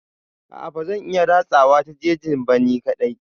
A'a bazan iya ratsawa ta jejin ba ni kaɗai.